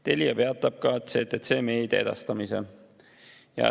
Telia peatab ka CTC Media edastamise.